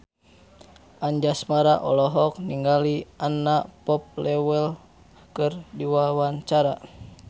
Anjasmara olohok ningali Anna Popplewell keur diwawancara